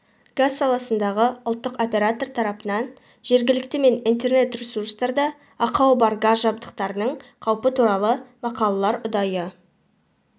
газ саласындағы ұлттық оператор тарапынан жергілікті мен интернет-ресурстарда ақауы бар газ жабдықтарының қаупі туралы мақалалар ұдайы